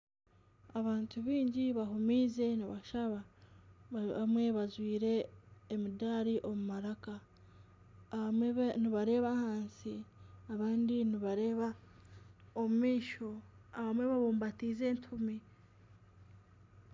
Abantu baingi bahuumize nibashaba abamwe bajwaire emidaari omu maraka abamwe nibareeba ahansi abandi nibareeba omu maisho abamwe babubatize etoomi.